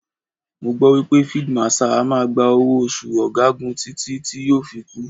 Mo gbọ́ wípé Fíídí Màṣaà á máa gba owó oṣù ọ̀gagun títí tí yóò fi kú.